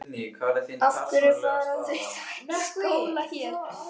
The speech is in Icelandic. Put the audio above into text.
Af hverju fara þau þá ekki í skóla hér?